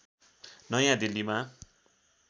नयाँ दिल्लीमा